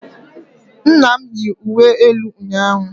nna m yi uwe elu ụnyahụ